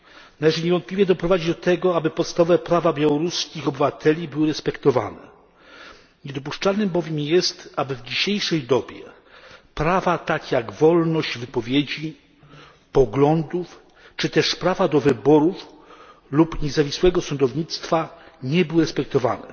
Należy niewątpliwie doprowadzić do tego, aby podstawowe prawa białoruskich obywateli były respektowane, niedopuszczalne bowiem jest, aby w dzisiejszej dobie prawa takie jak wolność wypowiedzi, poglądów, czy też prawa do wyborów lub niezawisłego sądownictwa nie były respektowane.